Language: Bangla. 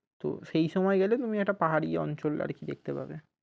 তো সেই সময় গেলে তুমি একটা পাহারি অঞ্চল আর কি দেখতে পাবে।